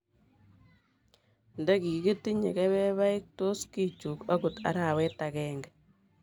Ndigigitinye kebebaik, tos kichuk agot arawet age